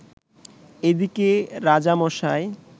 এদিকে রাজামশাই